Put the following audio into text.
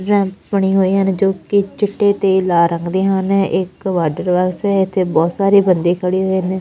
Ramp ਬਣੇ ਹੋਏ ਨੇ ਜੋ ਕਿ ਚਿੱਟੇ ਤੇ ਲਾਲ ਰੰਗ ਦੇ ਹਨ ਇੱਕ ਵਾਟਰ ਬਾਕਸ ਹੈ ਇੱਥੇ ਬਹੁਤ ਸਾਰੇ ਬੰਦੇ ਖੜੇ ਹੋਏ ਨੇ।